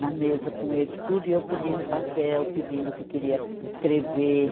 Na mesa com eles, tudo, e eu pedindo papel, pedindo que queria escrever.